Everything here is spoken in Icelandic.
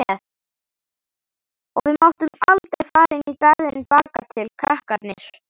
Og við máttum aldrei fara inn í garðinn bakatil, krakkarnir.